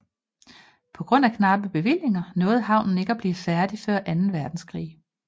På grund af knappe bevillinger nåede havnen ikke at blive færdig før anden verdenskrig